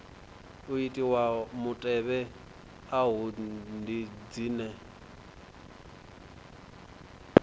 itiwaho mutevhe afha ndi dzine